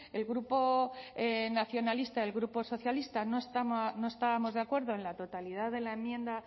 el grupo nacionalista el grupo socialista no estábamos de acuerdo en la totalidad de la enmienda